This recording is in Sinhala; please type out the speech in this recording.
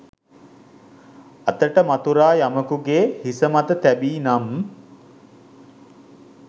අතට මතුරා යමකු ගේ හිස මත තැබී නම්